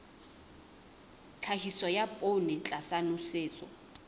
tlhahiso ya poone tlasa nosetso